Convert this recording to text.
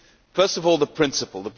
First of all, the principle.